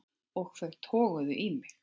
Og þau toguðu í mig.